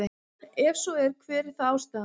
Ef svo er hver er þá ástæðan?